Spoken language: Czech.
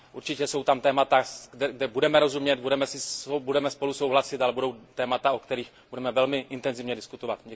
Určitě jsou tam témata, kde si budeme rozumět, kde budeme spolu souhlasit, ale budou témata, o kterých budeme velmi intenzivně diskutovat.